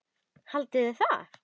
LÁRUS: Haldið þið það?